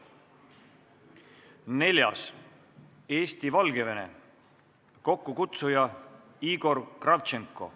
Neljandaks, Eesti-Valgevene, kokkukutsuja on Igor Kravtšenko.